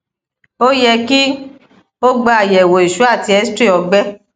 o yẹ ki o gba ayẹwo iṣu ati xray ọgbẹ